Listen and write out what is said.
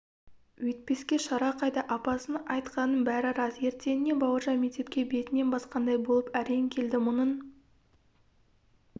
өйтпеске шара қайда апасының айтқанының бәрі рас ертеңіне бауыржан мектепке бетінен басқандай болып әрең келді мұның